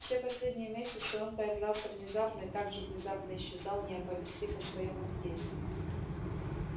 все последние месяцы он появлялся внезапно и так же внезапно исчезал не оповестив о своём отъезде